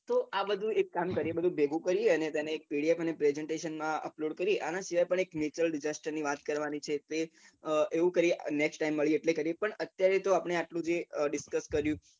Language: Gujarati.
તો આ બધું એક કામ કરીએ આ બધું ભેગું કરીએ અને તેને pdf presentation માં upload કરીએ આના સિવાય પણ એક natural disaster ની વાત કરવાની છે તે એવું કરીએ next time મળીએ એટલે કરીએ પણ અત્યારે તો આટલું જે discuss કર્યું